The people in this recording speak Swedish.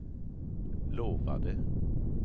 lovade